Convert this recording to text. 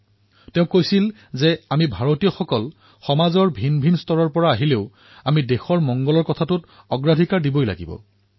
তেওঁ এয়াও কৈছিল যে আমি ভাৰতীয়সকল ভিন্ন ভিন্ন পৃষ্ঠভূমিৰ হব পাৰোঁ কিন্তু আমি সবাৰো ঊৰ্ধত দেশহিতক ৰাখিব লাগিব